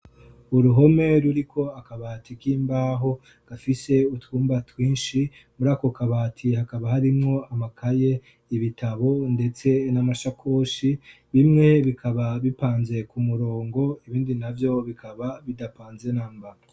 Uruhome ruriko akabati k'imbaho gafise utwumba twinshi. Muri ako kabati hakaba harimwo amakaye, ibitabo, ndetse n'amashakoshi; bimwe bikaba bipanze ku murongo ibindi navyo bikaba bidapanze namba.